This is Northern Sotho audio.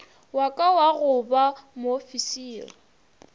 waka wa go ba moofisiri